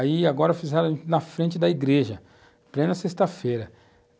Aí agora fizeram na frente da igreja, plena sexta-feira.